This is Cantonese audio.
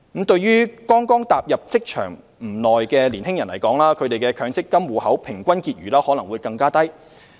對於剛踏入職場不久的年輕人士來說，他們的強積金戶口平均結餘可能會更低。